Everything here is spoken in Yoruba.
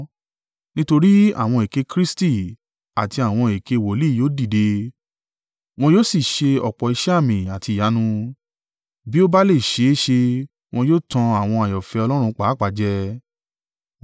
Nítorí àwọn èké Kristi àti àwọn èké wòlíì yóò dìde. Wọn yóò sì ṣe ọ̀pọ̀ iṣẹ́ àmì àti ìyanu. Bí ó bá lè ṣe é ṣe wọn yóò tan àwọn àyànfẹ́ Ọlọ́run pàápàá jẹ.